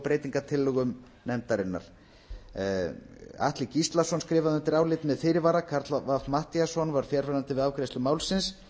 breytingartillögum nefndarinnar atli gíslason skrifaði undir álitið með fyrirvara karl fimmti matthíasson var fjarverandi við afgreiðslu málsins